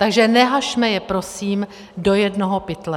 Takže neházejme je prosím do jednoho pytle.